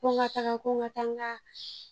Ko n ka taga ko n ka taa n ka